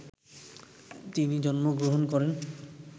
তিনি জন্ম গ্রহণ করেন